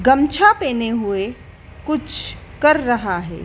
गमछा पहने हुए कुछ कर रहा है।